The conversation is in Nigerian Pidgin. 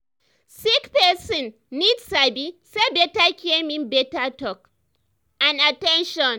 sick person need sabi say better care mean better talk and at ten tion.